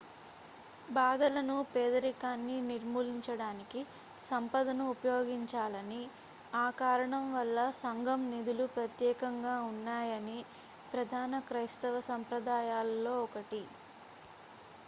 బాధలను పేదరికాన్ని నిర్మూలించడానికి సంపదను ఉపయోగించాలని ఆ కారణం వల్ల సంఘం నిధులు ప్రత్యేకంగా ఉన్నాయని ప్రధాన క్రైస్తవ సంప్రదాయాల్లో ఒకటి